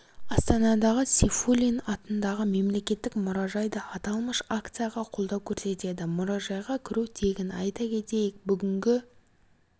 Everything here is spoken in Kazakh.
астанадағы сейфуллин атындағы мемлекеттік мұражай да аталмыш акцияға қолдау көрсетеді мұражайға кіру тегін айта кетейік бүгінгі